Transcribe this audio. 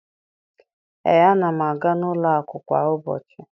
Ee, ana m aga n'ụlọụka kwa ụbọchị